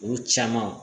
Olu caman